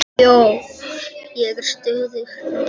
Ég er stöðug núna.